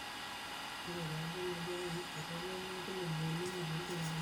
ngoru enkoitoi naibooyo, ntumia enkoitoi naar dudui nisuj hali oo nkatampo